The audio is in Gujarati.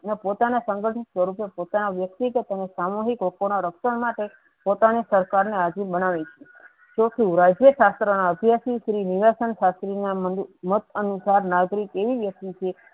ને પોતાના ના સંગ્ઠો તરીકે પોતાના વ્યક્તિગત અને સામુહિક લોકો ના રક્ષણ માટે પોતાની ના સરકાર ને અધીન બનાવી તો શુ રાજ્ય શાસ્ત્ર ના અભ્યાસી શ્રી નીવાસન શાસ્રી ના મત અનુસાર નાગરિક એવી વ્યક્તિ છે